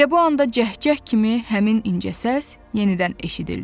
Elə bu anda cəhcəh kimi həmin incə səs yenidən eşidildi.